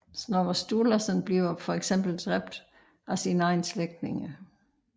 Snorre Sturlasson bliver fx dræbt af sine egne slægtninge